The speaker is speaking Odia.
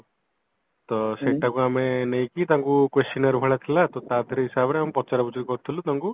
ତ ସେଟାକୁ ଆମେ ନେଇକି ତାଙ୍କୁ questionର ଭଳିଆ ଥିଲା ତ ହିସାବରେ ଆମେ ପଚରା ପଚରି କରୁଥିଲୁ ତାଙ୍କୁ